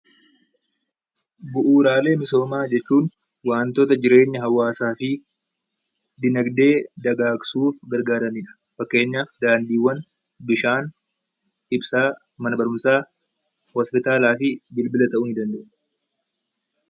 Bu'uuraalee misoomaa jechuun waantota jireenya hawaasaa fi diinagdee dagaagsuuf gargaarani dha. Fakkeenyaaf, daandiiwwan, bishaan, ibsaa, mana barumsaa, hospitaalaa fi bilbila ta'uu ni danda'a.